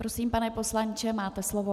Prosím, pane poslanče, máte slovo.